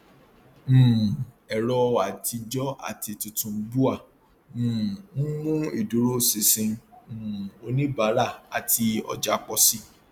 um ẹrọ àtijọ àti tuntun bua um ń mú ìdúróṣinṣin um oníbàárà àti ọjà pọ síi